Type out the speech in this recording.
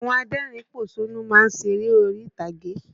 Àwọn adẹ́rìn-ín pòṣónú má ń ṣeré orí-ìtàgé